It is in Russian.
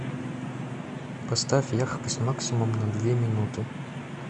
поставь яркость максимум на две минуты